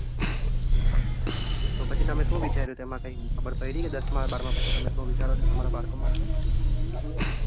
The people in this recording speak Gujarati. તો પછી તમે શું વિચાર્યું તેમાં કઈ ખબર પડી કે દસમા બારમાં પછી તમે શું વિચારો છે તમારા બાળકો માટે.